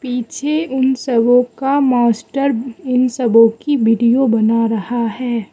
पीछे उन सबों का मास्टर इन सबों की वीडियो बना रहा हैं।